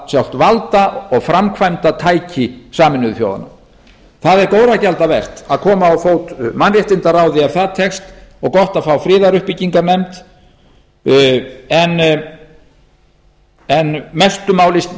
sjálft valda og framkvæmdatæki sameinuðu þjóðanna það er góðra gjalda vert að koma á fót mannréttindaráði ef það tekst og gott að fá friðaruppbyggingarmenn en mestu máli